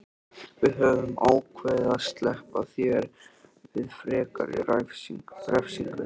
Við höfum ákveðið að SLEPPA ÞÉR VIÐ FREKARI REFSINGU.